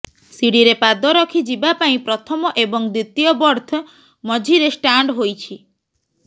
ସିଡିରେ ପାଦ ରଖି ଯିବା ପାଇଁ ପ୍ରଥମ ଏବଂ ଦ୍ୱିତୀୟ ବର୍ଥ ମଝିରେ ଷ୍ଟାଣ୍ଡ ହୋଇଛି